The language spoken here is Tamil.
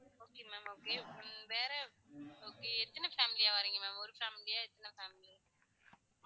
ஹம் okay ma'am okay உம் வேற okay எத்தன family யா வாரிங்க ma'am ஒரு family யா எத்தன family